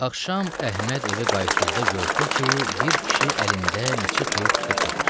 Axşam Əhməd evə qayıtdıqda gördü ki, bir kişi əlində neçə toyuq tutub satır.